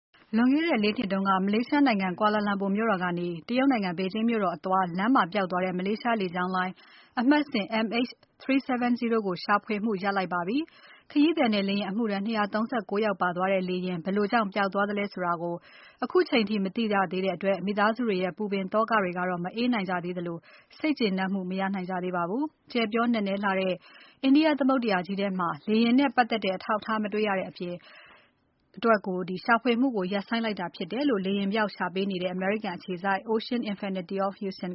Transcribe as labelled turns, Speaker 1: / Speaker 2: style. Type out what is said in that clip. Speaker 1: လွန်ခဲ့တဲ့ ၄ နှစ်က မလေးရှားနိုင်ငံ Kuala Lumpur မြို့တော်ကနေ တရုတ်နိုင်ငံ ဘေဂျင်းမြို့တော်ကို အသွားလမ်းမှာပျောက်သွားတဲ့ မလေးရှားလေကြောင်းလိုင်း အမှတ်စဉ် MH370 ကိုရှာဖွေမှုရပ်ဆိုင်းလိုက်ပါပြီ။ ခရီးသည်နဲ့ လေယာဉ်အမှုထမ်း ၂၃၉ ယောက်ပါသွားတဲ့ လေယာဉ် ဘယ်လိုကြောင့် လေယာဉ်ပျောက်သွားသလဲဆိုတာကို ခုချိန်ထိ မသိရသေးတဲ့အတွက် မိသားစုတွေရဲ့ ပူပင်သောကတွေ မအေးနိုင်ကြသေးသလို စိတ်ကျေနပ်မှု မရနိုင်ကြသေးပါဘူး။ ကျယ်ပြောနက်နဲလှတဲ့ India သမုဒ္ဒရာကြီးထဲမှာ လေယာဉ်နဲ့ပါတ်သက်တဲ့ အထောက်အထားမတေ့ွရတဲ့အတွက် ရှာဖွေမှုကို ရပ်ဆိုင်းလိုက်တာဖြစ်တယ်လို့ လေယာဉ်ပျောက် ရှာပေးနေတဲ့ အမေရိကန်အခြေစိုက် Ocean Infinity of Houston